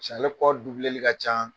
pasike ale kɔli ka ca.